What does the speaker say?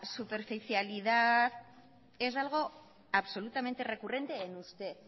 superficialidad es algo absolutamente recurrente en usted